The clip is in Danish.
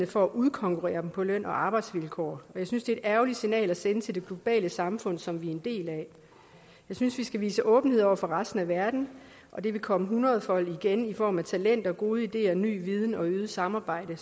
for at udkonkurrere dem på løn og arbejdsvilkår og jeg synes det er et ærgerligt signal at sende til det globale samfund som vi er en del af jeg synes vi skal vise åbenhed over for resten af verden og det vil komme hundredefold igen i form af talenter gode ideer ny viden og øget samarbejde